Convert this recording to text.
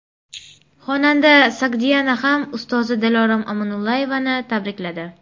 Xonanda Sogdiana ham ustozi Dilorom Omonullayevani tabrikladi.